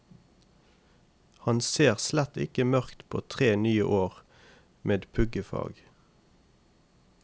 Han ser slett ikke mørkt på tre nye år med puggefag.